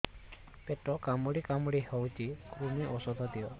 ପେଟ କାମୁଡି କାମୁଡି ହଉଚି କୂର୍ମୀ ଔଷଧ ଦିଅ